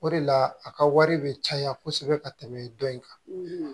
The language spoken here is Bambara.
O de la a ka wari be caya kosɛbɛ ka tɛmɛ dɔ in kan